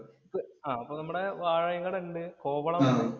ആഹ് അപ്പൊ നമ്മുടെ ഉണ്ട്. കോവളം ഉണ്ട്.